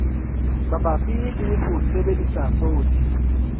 mabapi le ho sebedisa poone